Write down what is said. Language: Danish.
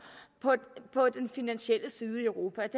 på den finansielle side i europa